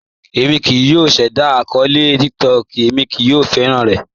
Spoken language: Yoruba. Èmi kíì yọ̀ ṣẹda akọọlẹ̀ TikTok, èmi kò fẹ́ran rẹ̀.